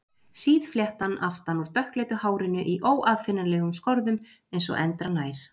Síð fléttan aftan úr dökkleitu hárinu í óaðfinnanlegum skorðum eins og endranær.